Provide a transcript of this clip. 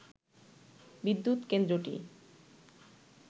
বিদ্যুৎ কেন্দ্রটি